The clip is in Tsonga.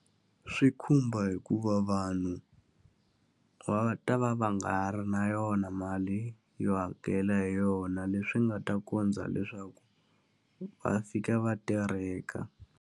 Swi khumba hikuva vanhu va ta va va nga ha ri na yona mali yo hakela hi yona, leswi nga ta kondza leswaku va fika va tereka.